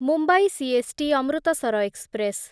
Mumbai CST Amritsar express